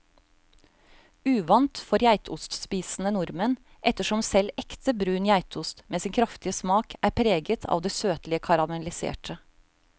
Uvant for geitostspisende nordmenn, ettersom selv ekte brun geitost med sin kraftige smak er preget av det søtlige karamelliserte.